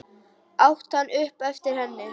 át hann upp eftir henni.